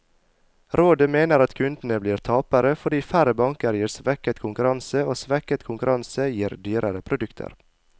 Rådet mener at kundene blir tapere, fordi færre banker gir svekket konkurranse, og svekket konkurranse gir dyrere produkter.